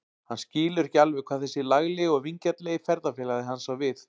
Hann skilur ekki alveg hvað þessi laglegi og vingjarnlegi ferðafélagi hans á við.